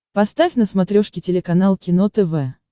поставь на смотрешке телеканал кино тв